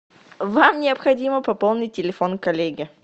вам необходимо пополнить телефон коллеги